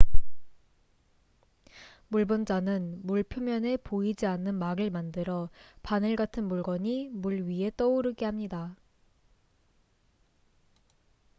물 분자는 물 표면에 보이지 않는 막을 만들어 바늘 같은 물건이 물 위에 떠오르게 합니다